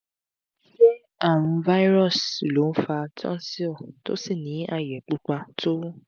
ṣé àrùn virus ló n fa tonsil tó sì ní aye pupa tó wú?